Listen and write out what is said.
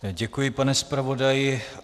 Děkuji, pane zpravodaji.